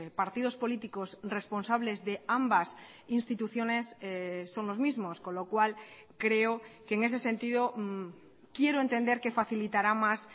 partidos políticos responsables de ambas instituciones son los mismos con lo cual creo que en ese sentido quiero entender que facilitará más